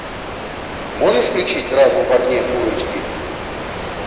можешь включить разум в огне фулл эйч ди